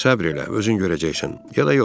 Səbr elə, özün görəcəksən, ya da yox.